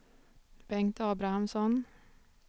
Bengt Abrahamsson